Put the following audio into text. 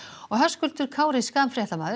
Höskuldur Kári Schram fréttamaður